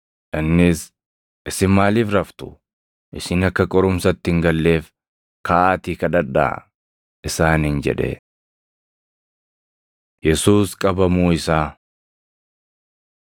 Innis, “Isin maaliif raftu? Isin akka qorumsatti hin galleef kaʼaatii kadhadhaa” isaaniin jedhe. Yesuus Qabamuu Isaa 22:47‑53 kwf – Mat 26:47‑56; Mar 14:43‑50; Yoh 18:3‑11